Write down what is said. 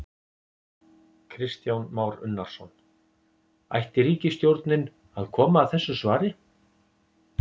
Kristján Már Unnarsson: Ætti ríkisstjórnin að koma að þessu svari?